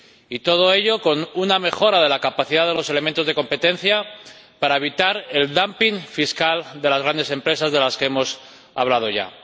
Y todo ello con una mejora de la capacidad de los elementos de competencia, para evitar el dumping fiscal de las grandes empresas de las que hemos hablado ya.